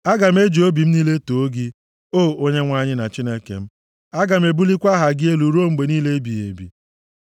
Aga m eji obi m niile too gị, O Onyenwe anyị, na Chineke m; aga m ebulikwa aha gị elu ruo mgbe niile ebighị ebi.